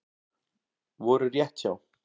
Voru rétt hjá